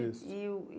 Isso. E o